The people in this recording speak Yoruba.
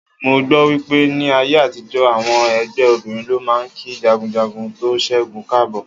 Mo gbọ́ wípé ní ayé àtijó, àwọn ẹgbẹ́ obìnrin ló máa ń kí jagunjagun tó ṣẹ́gun káàbọ̀.